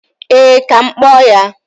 Ee, ka m kpọọ ya